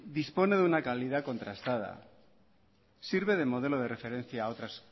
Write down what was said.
dispone de una calidad contrastada sirve de modelo de referencia a otras